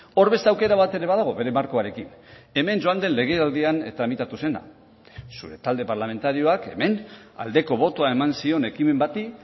hor beste aukera bat ere badago bere markoarekin hemen joan den legealdian tramitatu zena zure talde parlamentarioak hemen aldeko botoa eman zion ekimen bati